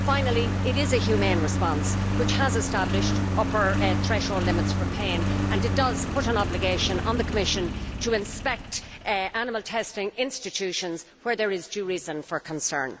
Finally, it is a humane response which has established upper threshold limits for pain, and it does put an obligation on the Commission to inspect animal testing institutions where there is due reason for concern.